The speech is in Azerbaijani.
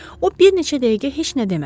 O bir neçə dəqiqə heç nə demədi.